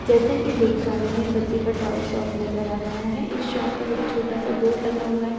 जैसा कि देख पा रहे हैं बच्चों का टॉय शॉप नजर आ रहा है इस शॉप पर छोटा सा बोर्ड लगा हुआ है जिस पे ब्‍लैक कल --